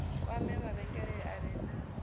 kwame mavhengele a re na